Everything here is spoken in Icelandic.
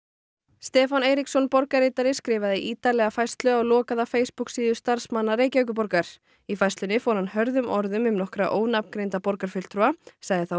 Stefán Eiríksson borgarritari skrifaði ítarlega færslu á lokaða Facebook síðu starfsmanna Reykjavíkurborgar í færslunni fór hann hörðum orðum um nokkra ónafngreinda borgarfulltrúa sagði þá